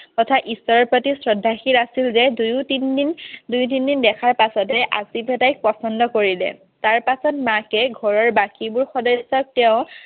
তথা ঈশ্বৰৰ প্ৰতি শ্ৰদ্ধাশীল আছিল যে দুই তিনিদিন দুই তিনিদিন দেখাৰ পাছতে আছিফে তাইক পছন্দ কৰিলে। তাৰপাছত মাকে ঘৰৰ বাকীবোৰ সদস্যক তেওঁ